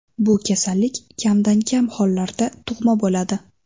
Bu kasallik kamdan-kam hollarda tug‘ma bo‘ladi.